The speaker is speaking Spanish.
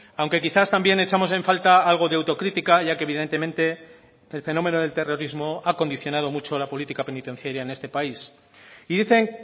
aunque quizás también echamos en falta algo de autocrítica ya que evidentemente el fenómeno del terrorismo ha condicionado mucho la política penitenciaria en este país y dicen